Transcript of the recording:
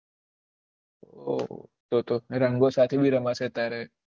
ઓહ ઓહ તો રંગો સાથે ભી રમાશે તારે